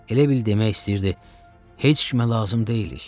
Elə bil demək istəyirdi: “Heç kimə lazım deyilik.